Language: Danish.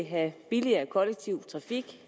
have billigere kollektiv trafik